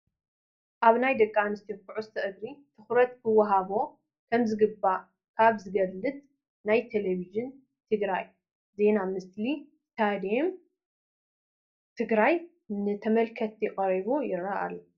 ናይ ደቂ ኣንስትዮ ኩዕሶ እግሪ ትኹረት ክወሃቦ ከምዝግባእ ኣብ ዝገልፅ ናይ ቴለቪዥን ትግራይ ዜና ምስሊ ስቴደም ትግራይ ንተመልከትቲ ቀሪቡ ይርአ ኣሎ፡፡